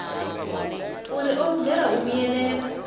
uri o lugela u vhuyelela